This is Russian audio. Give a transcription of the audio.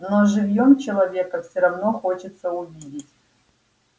но живьём человека всё равно хочется увидеть